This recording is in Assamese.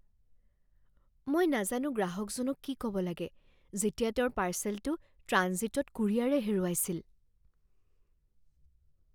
মই নাজানো গ্ৰাহকজনক কি ক'ব লাগে যেতিয়া তেওঁৰ পাৰ্চেলটো ট্ৰাঞ্জিটত কুৰিয়াৰে হেৰুৱাইছিল।